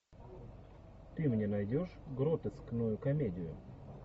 ты мне найдешь гротескную комедию